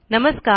नमस्कार